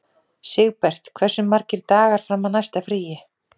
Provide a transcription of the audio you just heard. Sigbert, hversu margir dagar fram að næsta fríi?